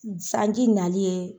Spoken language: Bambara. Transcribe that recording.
Sanji nali ye